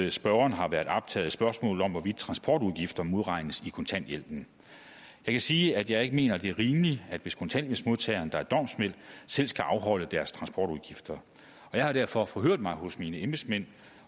at spørgeren har været optaget af spørgsmålet om hvorvidt transportudgifter modregnes i kontanthjælpen jeg kan sige at jeg ikke mener det er rimeligt hvis kontanthjælpsmodtagere der er domsmænd selv skal afholde deres transportudgifter jeg har derfor forhørt mig hos mine embedsmænd